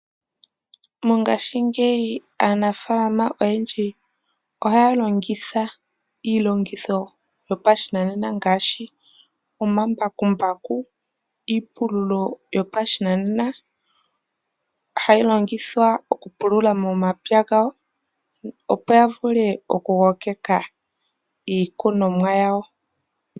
Mongashingeyi aanafalama oyendji ohaya longitha iilongitho yopa shinanena ngaashi omambakumbaku, iipululo yopa shinanena hayi longithwa okupulula momapya gawo opo yavule oku kokeka iikunomwa yawo.